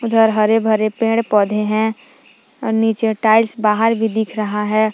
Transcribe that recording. इधर हरे भरे पेड़ पौधे हैं और नीचे टाइल्स बाहर भी दिख रहा है ।